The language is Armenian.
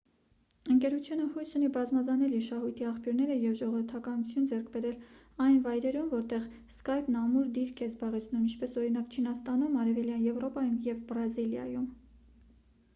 ընկերությունը հույս ունի բազմազանել իր շահույթի աղբյուրները և ժողովրդականություն ձեռք բերել այն վայրերում որտեղ սկայպն ամուր դիրք է զբաղեցնում ինչպես օրինակ չինաստանում արևելյան եվրոպայում և բրազիլիայում